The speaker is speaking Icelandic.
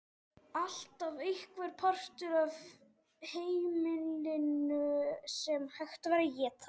Alltaf einhver partur af heimilinu sem hægt var að éta.